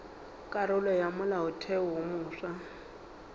karolo ya molaotheo wo mofsa